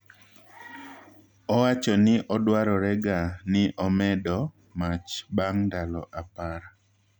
Owacho ni odwarorega ni omedo mach bang' ndalo apar.